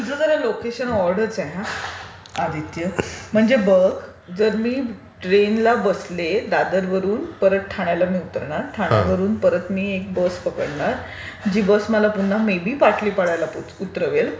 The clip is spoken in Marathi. तुझं जरा लोकेशन ऑडच आहे ना आदित्य म्हणजे बघ जर मी ट्रेनला बसले दादरवरून तर मी ठाण्याला उतरणार. ठाण्यावरून मी परत एक बस पकडणार जी बस मला मेबी पुन्हा पाटली पाड्याला उतरवेल.